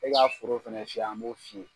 E ka foro fɛnɛ fiyɛ an b'o f'i ye.